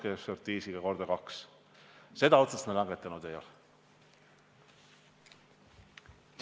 Kas erainvestorid on pimedad ega näe seda roosat unenägu, millest Hando Sutter kõneleb?